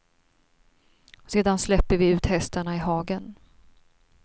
Sedan släpper vi ut hästarna i hagen.